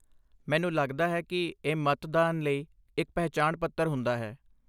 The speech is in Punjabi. ਮੈਨੂੰ ਲੱਗਦਾ ਹੈ ਕਿ ਇਹ ਮਤਦਾਨ ਲਈ ਇੱਕ ਪਹਿਚਾਣ ਪੱਤਰ ਹੁੰਦਾ ਹੈ।